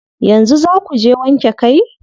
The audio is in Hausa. Yanzu zaa kuje wanke kai?